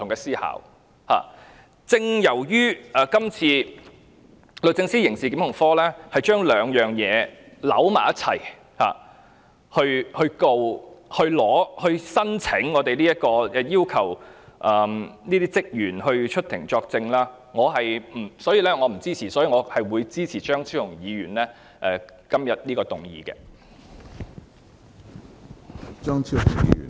正正由於今次律政司刑事檢控科將兩個理由混為一談，對議員作出檢控，並向立法會申請許可讓有關職員出庭作證，所以我不贊同批准許可，我會支持張超雄議員今天提出的議案。